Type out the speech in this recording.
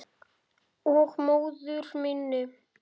Og móður minni.